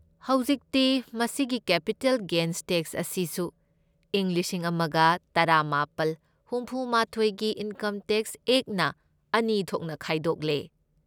ꯍꯧꯖꯤꯛꯇꯤ, ꯃꯁꯤꯒꯤ capital gains tax ꯑꯁꯤꯁꯨ ꯏꯪ ꯂꯤꯁꯤꯡ ꯑꯃꯒ ꯇꯔꯥꯃꯥꯄꯜ ꯍꯨꯝꯐꯨꯃꯥꯊꯣꯢꯒꯤ ꯏꯟꯀꯝ ꯇꯦꯛꯁ ꯑꯦꯛꯠꯅ ꯑꯅꯤ ꯊꯣꯛꯅ ꯈꯥꯏꯗꯣꯛꯂꯦ꯫